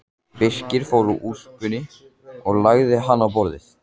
Birkir fór úr úlpunni og lagði hana á borðið.